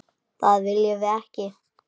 Það viljum við ekki.